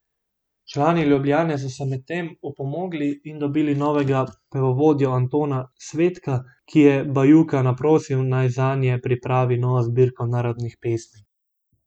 Člani Ljubljane so se medtem opomogli in dobili novega pevovodjo Antona Svetka, ki je Bajuka naprosil, naj zanje pripravi novo zbirko narodnih pesmi.